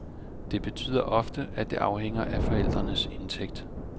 Det betyder ofte, at det afhænger af forældres indtægt.